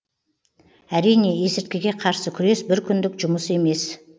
әрине есірткіге қарсы күрес бір күндік жұмыс емес